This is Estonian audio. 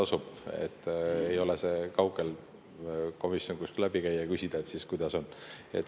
See komisjon ei ole kaugel, käige läbi ja küsige, et kuidas on.